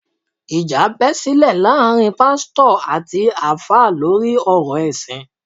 Ìjà bẹ́ sílẹ̀ láàárín Pásítọ̀ àti Alfa lórí ọ̀rọ̀ ẹ̀sìn